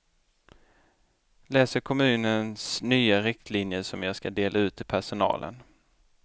Läser kommunens nya riktlinjer som jag ska dela ut till personalen.